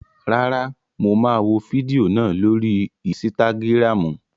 Rárá, mo máa wò fídíò náà lórii ísítágírámù